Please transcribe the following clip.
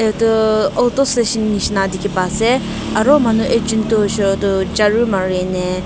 Etu tuh auto station neshina dekhey pa ase aro manu ek jun toh hoishe koile tuh jaru mariyeh neh--